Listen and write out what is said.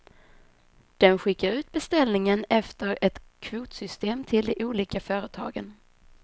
Den skickar ut beställningen efter ett kvotsystem till de olika företagen.